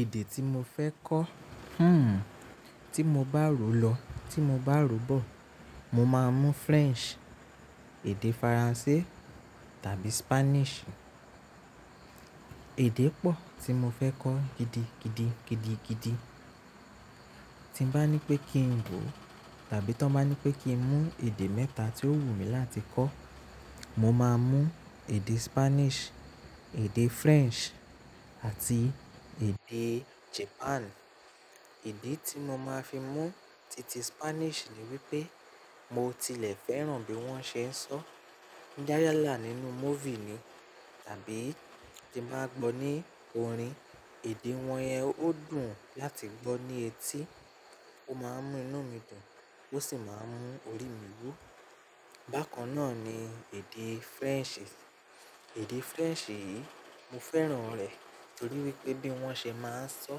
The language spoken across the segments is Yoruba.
Èdè tí mo fẹ́ kọ́, hmm, tí mo bá ro lọ, tí mo bá ro bọ̀, mo máa mú French, èdè Faransé tàbí Spanish. Èdè pọ̀ tí mo fẹ́ kọ́ gidigidi, gidigidi. Tí ń bá ní pé kí n wò tàbí tí wón bá ní pé kí n mú èdè mẹ́ta tí ó wù mí láti kọ́, mo máa mú èdè Spanish, èdè French àti èdè Japan. Ìdí tí mo máa fi mú titi Spanish ni wípé mo tilẹ̀ fẹ́ràn bí wón ṣe ń sọ. Yálà nínú movie ni tàbí tí màá gbọ́ ní orin, èdè wọn yẹn ó dùn láti gbọ́ ní etí. Ó máa ń mú iná mi dùn, ó sì máa ń mú orí mi wú. Bákan náà ni èdè French. Èdè French yìí, mo fẹ́ràn rẹ̀ torí wípé bí wón ṣe máa ń sọ,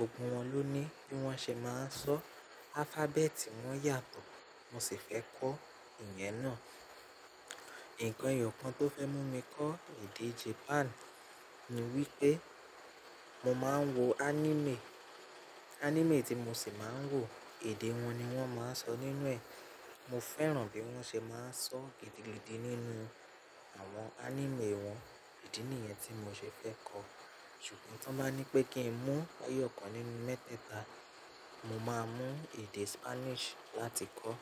ogún wọn ló ní. Bí wón ṣe máa ń sọ alphabet, wón yàtọ̀, mo sì fẹ́ kọ́ ìyẹn náà. Ǹkan eyọ̀ kan tó fẹ́ mú mi kọ́ èdè Japan ni wípé mo máa ń wo anime. Anime tí mo sì máa ń wò, èdè wọn ni wón máa ń sọ nínú ẹ̀. Mo fẹ́ràn bí wón ṣe máa ń sọ gidigidi nínú àwọn anime wọn. Idí nìyẹn tí mo ṣe fẹ́ kọ́. Ṣùgbọ́n tí wọ́n bá ní pé kí n mú ẹ̀yọ̀ kan nínú mẹ́tẹ̀ta, mo máa mú èdè Spanish láti kọ́.